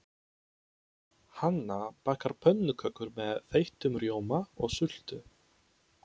Hanna bakar pönnukökur með þeyttum rjóma og sultu.